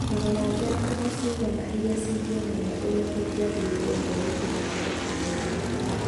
Ta rora ngerekano ciigana irĩa cironania ũrĩa tũngĩambĩrĩria ndeereti na andũ kũgerera maandĩko.